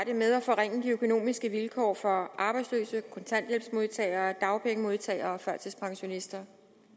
det med at forringe de økonomiske vilkår for arbejdsløse kontanthjælpsmodtagere dagpengemodtagere og førtidspensionister